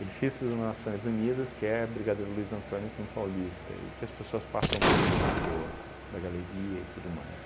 Edifícios Nações Unidas, que é Brigadeiro Luiz Antônio com Paulista, e que as pessoas passam por dentro do da galeria e tudo mais.